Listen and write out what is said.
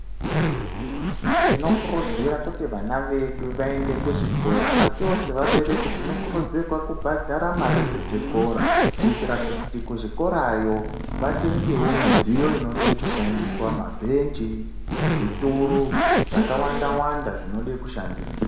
Tinokurudzira kuti vana vedu vaende kuzvikora, asiwo sevabereki tinokurudzirwa kubhadhara mare dzechikora, kuitira kuti kuzvikorayo vatengewo midziyo inode kushandiswa, mabhenji, zvituru, zvakawanda-wanda zvinode kushandiswa.